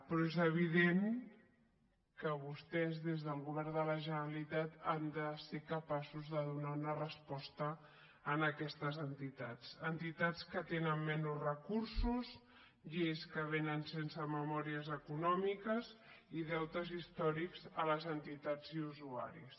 però és evident que vostès des del govern de la generalitat han de ser capaços de donar una resposta a aquestes entitats entitats que tenen menys recursos lleis que vénen sense memòries econòmiques i deutes històrics a les entitats i usuaris